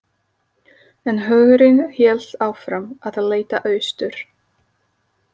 En hugurinn hélt áfram að leita austur.